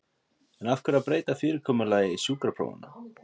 En af hverju að breyta fyrirkomulagi sjúkraprófanna?